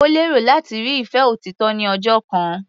Ó lérò láti rí ìfẹ́ òtítọ́ ní ọjọ́ kan.